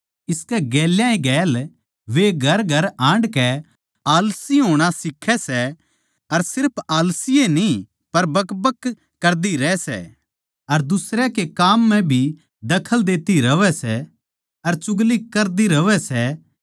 इसकै गेल्या ए गेल्या वे घरघर हांड कै आलसी होणा सिक्खैं सै अर सिर्फ आलसी न्ही पर बकबक कर दी रहै सै अर दुसरयां कै काम म्ह भी दखल देती रहवै सै अर चुगली करदी रहवै सै